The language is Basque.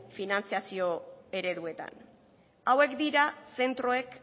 finantziazio ereduetan hauek dira zentroek